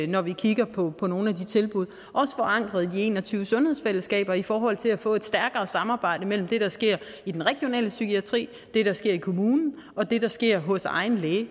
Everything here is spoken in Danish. når vi kigger på på nogle af de tilbud også forankret i de en og tyve sundhedsfællesskaber i forhold til at få et stærkere samarbejde mellem det der sker i den regionale psykiatri det der sker i kommunen og det der sker hos egen læge